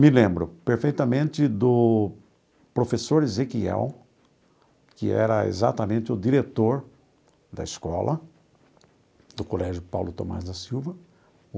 Me lembro perfeitamente do professor Ezequiel, que era exatamente o diretor da escola, do colégio Paulo Thomaz da Silva.